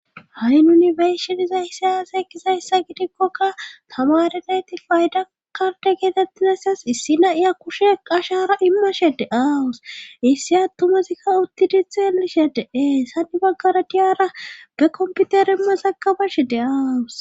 Ha'i nuni be'ishshi dizayssi ezgizayssa aaze gidikkokka tamarenayti fayda karde geetettizayssas issi naiya kushe ashara immashe de'awus issi attumasikka uttidi xellishshe de'ees hani baggara diyara be komputere masakabashe de'aawus